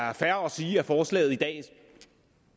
er fair at sige at forslaget i dag